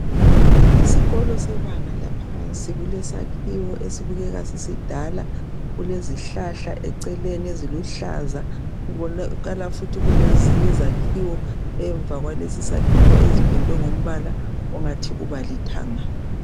Isikolo sebanga laphansi kulesakhiwo esibukeka sisidala kulezihlahla eceleni eziluhlaza kubonakala futhi kulezinye izakhiwo emva kwaleso sakhiwo ezimpendwe ngompala ongathi lithanga.